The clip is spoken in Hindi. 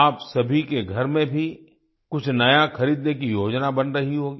आप सभी के घर में भी कुछ नया खरीदने की योजना बन रही होगी